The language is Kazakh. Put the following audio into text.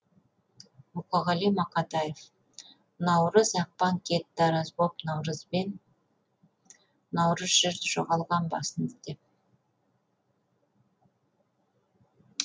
мұқағали мақатав наурыз ақпан кетті араз боп наурызбен наурыз жүр жоғалған бағын іздеп